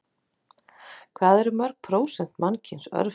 Hvað eru mörg prósent mannkyns örvhent?